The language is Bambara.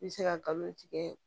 I bɛ se ka galon tigɛ